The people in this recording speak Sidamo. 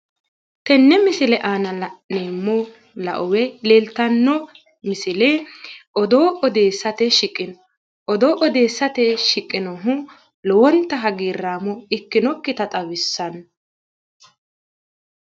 tenne misile aana la'neemohu lao woyi leeltano misile odoo odeessate shiqino odoo odeessate shiqinohu lowonta hagiirraamo ikkinokkita xawissanno.